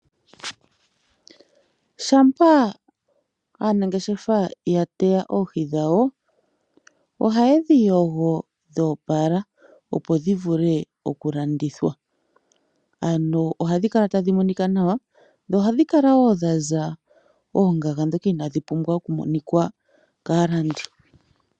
Shampa aanangeshefa ya teya oohi dhawo, ohaye dhi yogo dho opala opo dhi vule okulandithwa ano ohadhi kala tadhi monika nawa dho ohadhi kala wo dha za oongaga ndhoka inaadhi pumbwa okumonika kaalandi.